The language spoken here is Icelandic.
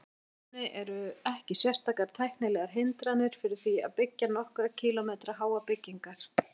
Í rauninni eru ekki sérstakar tæknilegar hindranir fyrir því að byggja nokkurra kílómetra háar byggingar.